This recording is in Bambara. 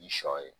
Ni sɔ ye